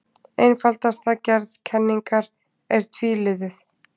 Einfaldasta gerð kenningar er tvíliðuð.